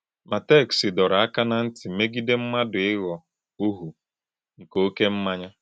Má téksì dòrò ákà ná ntì mègìdè mmádụ íghọ̀ “òhù nké òké mmànỳà.